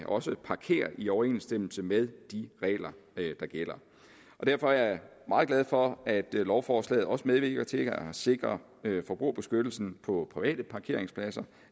også parkere i overensstemmelse med de regler der gælder derfor er jeg meget glad for at lovforslaget også medvirker til at sikre at forbrugerbeskyttelsen på private parkeringspladser